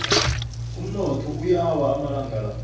umnotho uyawa amalanga la